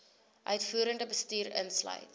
uitvoerende bestuur insluit